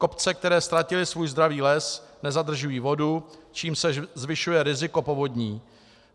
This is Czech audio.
Kopce, které ztratily svůj zdravý les, nezadržují vodu, čímž se zvyšuje riziko povodní.